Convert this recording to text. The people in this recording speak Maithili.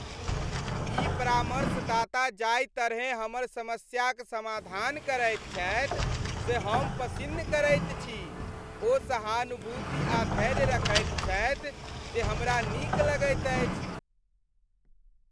ई परामर्शदाता जाहि तरहे हमर समस्याक समाधान करैत छथि से हम पसिन्न करैत छी। ओ सहानुभूति आ धैर्य रखैत छथि जे हमरा नीक लगैत अछि।